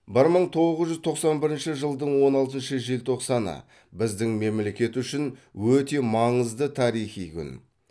бір мың тогыз жүз тоқсан бірінші жылдың он алтыншы желтоқсаны біздің мемлекет үшін өте маңызды тарихи күн